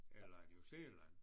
Eller New Zealand